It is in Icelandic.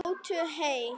Njótið heil!